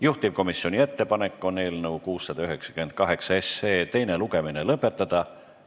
Juhtivkomisjoni ettepanek on eelnõu 698 teine lugemine lõpetada.